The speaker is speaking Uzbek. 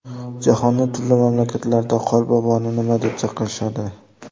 Jahonning turli mamlakatlarida Qorboboni nima deb chaqirishadi?.